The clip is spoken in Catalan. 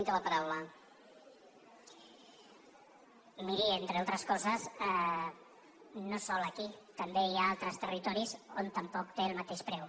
miri entre altres coses no sols aquí també hi ha altres territoris on tampoc té el mateix preu